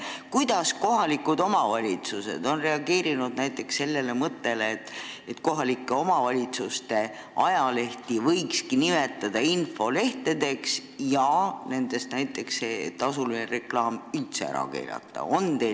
Kuidas kohalikud omavalitsused on reageerinud näiteks sellele seisukohale, et omavalitsuste ajalehti võiks nimetada infolehtedeks ja nendes tasuline reklaam üldse ära keelata?